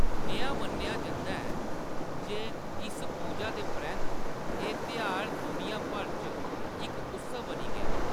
नेहा मन्नेआ जंदा ऐ जे इस पूजा दे परैंत्त, एह्‌‌ त्यहार दुनिया भर च इक उत्सव बनी गेआ।